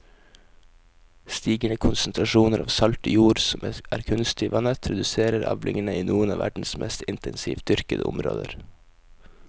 Stigende konsentrasjoner av salt i jord som er kunstig vannet reduserer avlingene i noen av verdens mest intensivt dyrkede områder.